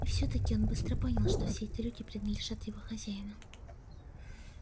и всё таки он быстро понял что все эти люди принадлежат его хозяину